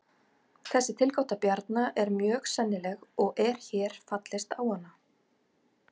Þessi tilgáta Bjarna er mjög sennileg og er hér fallist á hana.